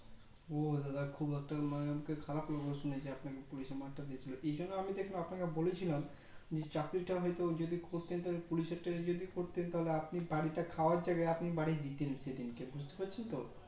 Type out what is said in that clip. ও দাদা খুব একটা মানে আমাকে খারাপ লাগছে যে আপনাকে মারটা দিয়েছিলো এই জন্য আমি দেখবেন আপনাকে বলেছিলাম যে চাকরি টা হয়তো যদি করতে Police এর টা যদি করতেন তাহলে আপনি বারোটা খাওয়ার জায়গায় আপনি বাড়ি দিতেন সেদিনকে বুজতে পারছেন তো